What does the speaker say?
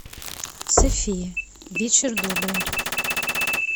софия вечер добрый